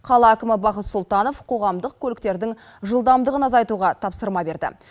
қала әкімі бақыт сұлтанов қоғамдық көліктердің жылдамдығын азайтуға тапсырма берді